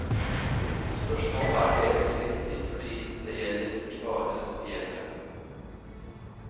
Spørsmålet er delvis riktig for det gjelder ikke bare de eldre.